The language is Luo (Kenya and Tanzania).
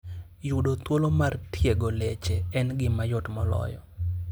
Yudo thuolo mar tiego leche en gima yot moloyo.